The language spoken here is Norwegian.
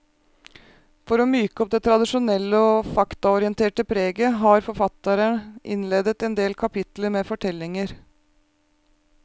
For å myke opp det tradisjonelle og faktaorienterte preget, har forfatterne innleder endel kapitler med fortellinger.